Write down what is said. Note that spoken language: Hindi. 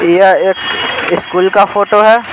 यह एक स्कूल काफोटो है।